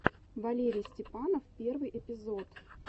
валерий степанов первый эпизод